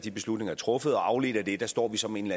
de beslutninger er truffet og afledt af det står vi så med en